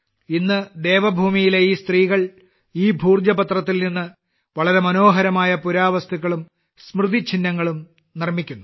ഇന്ന് ദേവഭൂമിയിലെ ഈ സ്ത്രീകൾ ഈ ഭോജ പത്രത്തിൽ നിന്ന് വളരെ മനോഹരമായ പുരാവസ്തുക്കളും സ്മൃതിചിഹ്നങ്ങളും നിർമ്മിക്കുന്നു